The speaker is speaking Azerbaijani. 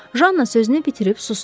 Janna sözünü bitirib susdu.